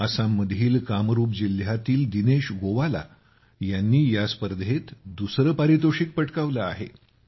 आसाममधील कामरूप जिल्ह्यातील दिनेश गोवाला यांनी या स्पर्धेत दुसरे पारितोषिक पटकावले आहे